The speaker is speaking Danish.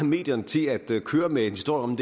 medierne til at køre med en historie om